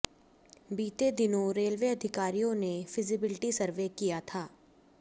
बीते दिनों रेलवे अधिकारियों ने फिजिबिलिटी सर्वे किया था